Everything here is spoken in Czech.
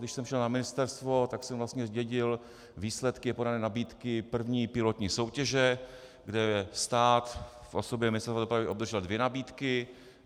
Když jsem šel na ministerstvo, tak jsem vlastně zdědil výsledky podané nabídky první pilotní soutěže, kde stát v osobě Ministerstva dopravy obdržel dvě nabídky.